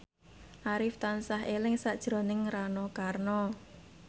Arif tansah eling sakjroning Rano Karno